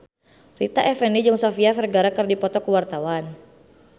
Rita Effendy jeung Sofia Vergara keur dipoto ku wartawan